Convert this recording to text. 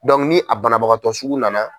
ni a banabagatɔ sugu nana.